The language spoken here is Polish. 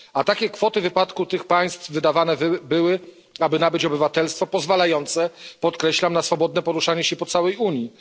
A takie kwoty w wypadku tych państw wydawane były, aby nabyć obywatelstwo pozwalające podkreślam na swobodne poruszanie się po całej Unii.